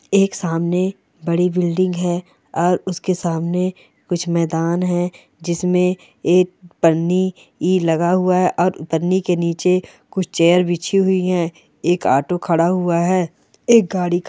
एक सामने बड़ी बिल्डिंग है और उसके सामने कुछ मैदान है जिसमे एक पन्नी लगा हुआ है और पन्नी के निचे कुछ चेयर बिछी हुई है एक ऑटो खड़ा हुआ है एक गाड़ी ख --